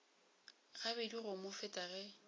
gabedi go mo feta ge